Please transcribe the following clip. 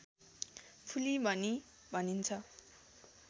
फुली पनि भनिन्छ